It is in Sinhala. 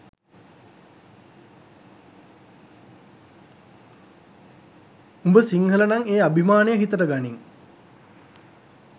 උඹ සිංහලනං ඒ අභිමානය හිතට ගනිං